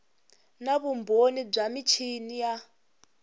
na vumbhoni bya michini ya